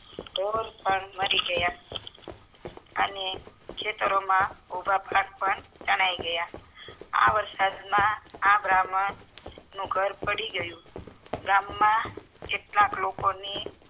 ઢોર પણ મારી ગયા અનેખેતરો માં ઉભા પાક પણ તણાય ગયા આ વરસાદ માં આ બાહ્મણ નું ઘર પડી ગયું ગામ માં કેટલા કે લોકો ની